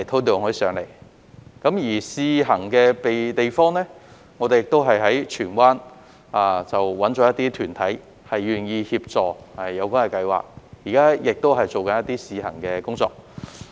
在試行地點方面，我們也在荃灣找了一些團體願意協助有關計劃，現時亦正在進行一些試行工作。